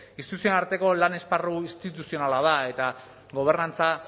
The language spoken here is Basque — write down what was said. instituzioen arteko lan esparru instituzionala da eta gobernantza